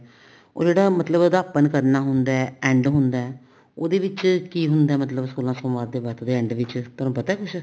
ਉਹ ਜਿਹੜਾ ਮਤਲਬ ਅਧਿਆਪਨ ਕਰਨਾ ਹੁੰਦਾ end ਹੁੰਦਾ ਉਹਦੇ ਵਿੱਚ ਕੀ ਹੁੰਦਾ ਮਤਲਬ ਸੋਲਾਂ ਸੋਮਵਾਰ ਦੇ ਵਰਤ ਦੇ end ਵਿੱਚ ਤੁਹਾਨੂੰ ਪਤਾ ਕੁੱਛ